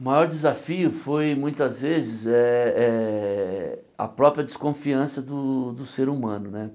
O maior desafio foi, muitas vezes eh eh, a própria desconfiança do do ser humano né.